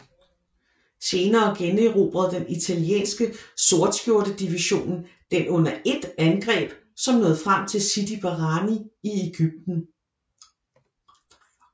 Senere generobrede den italienske Sortskjorte division den under et angreb som nåede frem til Sidi Barrani i Egypten